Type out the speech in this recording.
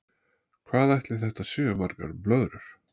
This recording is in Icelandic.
Hvað ætli þetta séu margar blöðrur?